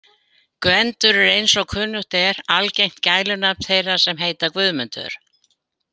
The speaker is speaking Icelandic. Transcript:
Gvendur er eins og kunnugt er algengt gælunafn þeirra sem heita Guðmundur.